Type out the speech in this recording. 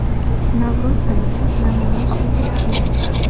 Navro‘z sayli namoyish etiladi.